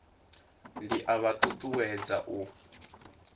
ndi a vha ṱuṱuwedza u